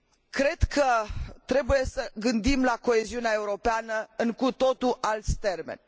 Cred că trebuie să ne gândim la coeziunea europeană în cu totul alți termeni.